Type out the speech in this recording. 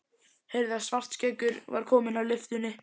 Heyrði að Svartskeggur var kominn að lyftunni.